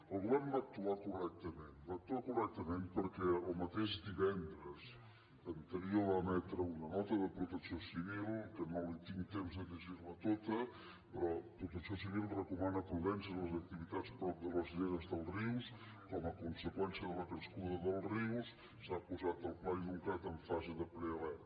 el govern va actuar correctament va actuar correctament perquè el mateix divendres anterior va emetre una nota de protecció civil que no tinc temps de llegir la tota però protecció civil recomana prudència a les activitats prop de les lleres dels rius com a conseqüència de la crescuda dels rius s’ha posat el pla inuncat en fase de prealerta